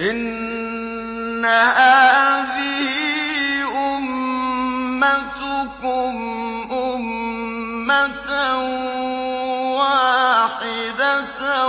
إِنَّ هَٰذِهِ أُمَّتُكُمْ أُمَّةً وَاحِدَةً